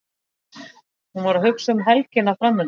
Hún var að hugsa um helgina framundan.